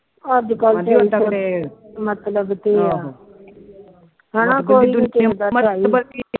ਅੱਜ ਕੱਲ ਤੇ ਮਤਲਬ ਤੇ ਆ ਹਾਨਾ